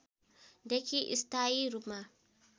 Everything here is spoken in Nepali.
देखि स्थायी रूपमा